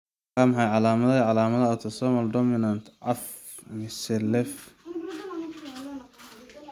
Waa maxay calaamadaha iyo calaamadaha Autosomal dominant caf mise lait finooyin?